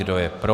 Kdo je pro?